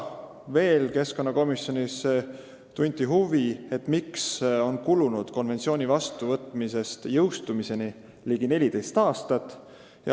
Veel tunti komisjonis huvi selle vastu, miks on konventsiooni vastuvõtmisest jõustumiseni kulunud ligi 14 aastat.